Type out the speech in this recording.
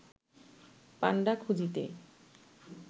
পাণ্ডা খুঁজিতে